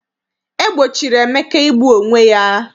E gbochiri Emeka igbu onwe ya.